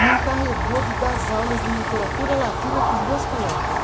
me encarregou de dar as aulas de literatura latina para os meus colegas.